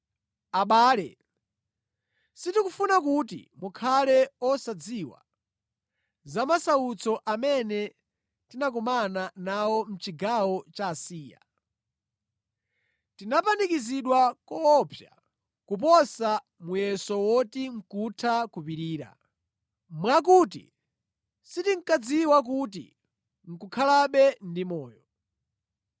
Abale, sitikufuna kuti mukhale osadziwa za masautso amene tinakumana nawo mʼchigawo cha Asiya. Tinapanikizidwa koopsa kuposa muyeso woti nʼkutha kupirira, mwakuti sitinkadziwa kuti nʼkukhalabe ndi moyo.